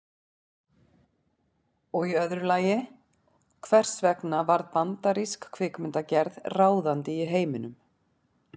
Og í öðru lagi, hvers vegna varð bandarísk kvikmyndagerð ráðandi í heiminum?